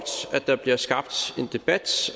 at der bliver skabt en debat